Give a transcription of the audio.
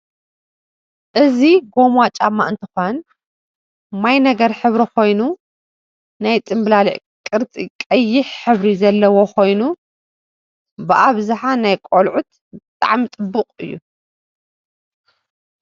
እዚ ጎማ ጫማ እንትኮን ማይ ነገር ሕብሪ ኮይኑ ናይ ፅምላሊል ቅርፂ ቀይሕ ሕብሪ ዘሎዎ ኮይኑ ብአብዛሓ ናይ ቆልዐት ብጣዓሚ ፅቡቅ እዩ ።